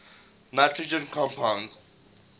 nitrogen compounds